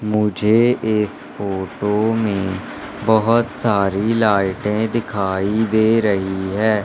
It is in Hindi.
मुझे इस फोटो में बहोत सारी लाइटे दिखाई दे रही है।